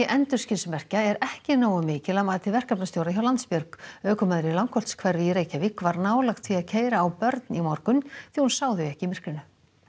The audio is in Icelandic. endurskinsmerkja er ekki nógu mikil að mati verkefnastjóra hjá Landsbjörg ökumaður í í Reykjavík var nálægt því að keyra á börn í morgun því hún sá þau ekki í myrkrinu